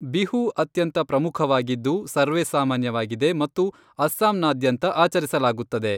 ಬಿಹು ಅತ್ಯಂತ ಪ್ರಮುಖವಾಗಿದ್ದು, ಸರ್ವೇಸಾಮಾನ್ಯವಾಗಿದೆ ಮತ್ತು ಅಸ್ಸಾಂನಾದ್ಯಂತ ಆಚರಿಸಲಾಗುತ್ತದೆ.